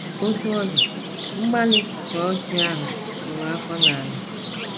Otú ọ dị, mgbalị chọọchị ahụ kụrụ afọ n’ala.